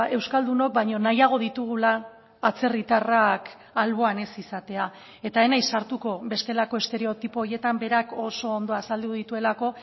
euskaldunok baina nahiago ditugula atzerritarrak alboan ez izatea eta ez naiz sartuko bestelako estereotipo horietan berak oso ondo azaldu dituelako